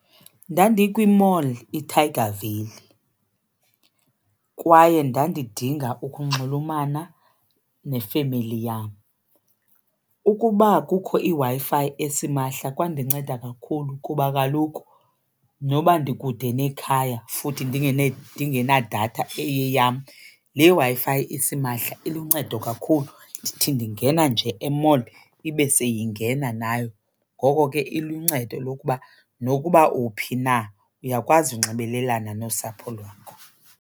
Ndandikwi-mall iTiger Valley kwaye ndandidinga ukunxulumana nefemeli yam. Ukuba kukho iWi-Fi esimahla kwandinceda kakhulu kuba kaloku noba ndikude nekhaya futhi ndingenadatha eyeyam le Wi-Fi isimahla iluncedo kakhulu, ndithi ndingena nje e-mall ibe seyingena nayo. Ngoko ke iluncedo lokuba nokuba uphi na uyakwazi unxibelelana nosapho lwakho.